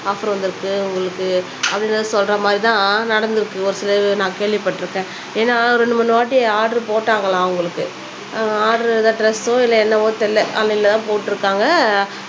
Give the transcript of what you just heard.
offer வந்துருக்கு உங்களுக்கு அப்படினு சொல்ற மாதிரி தான் நடந்துருக்கு ஒரு சிலருக்கு நான் கேள்விப்பட்டுருக்கேன் ஏனா ரெண்டு மூனு வாட்டி ஆர்டர் போட்டாங்களாம் அவங்களுக்கு ஆர்டர் இல்ல ட்ரெஸ்ஸோ இல்ல என்னவோ தெரியல ஆன்லைனல தான் போட்டுருக்காங்க